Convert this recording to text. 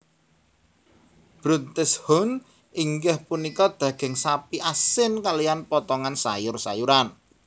Bruntes Huhn inggih punika daging sapi asin kaliyan potongan sayur sayuran